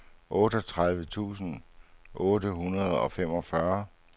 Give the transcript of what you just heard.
otteogtredive tusind otte hundrede og femogfyrre